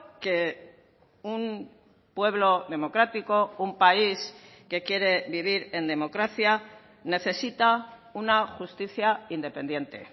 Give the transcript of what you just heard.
que un pueblo democrático un país que quiere vivir en democracia necesita una justicia independiente